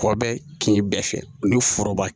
Kɔ bɛ kin bɛɛ fɛ ni foroba